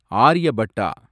Aryabhata